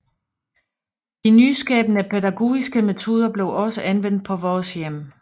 De nyskabende pædagogiske metoder blev også anvendt på Vores Hjem